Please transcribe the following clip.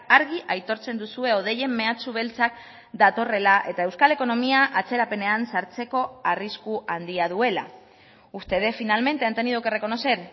argi aitortzen duzue hodeien meatsu beltzak datorrela eta euskal ekonomia atzerapenean sartzeko arrisku handia duela ustedes finalmente han tenido que reconocer